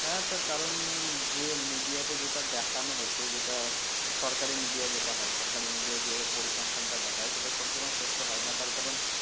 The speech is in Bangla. হ্যাঁ তার কারণ যে media তে যেটা দেখানো হচ্ছে যেটা সরকারি media যেটা হয় সরকারি media যে পরিসংখ্যানটা দেখায় সেটা সব সময় সত্য হয় না। তার কারণ